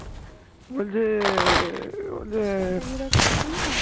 তকে জেতেই হবে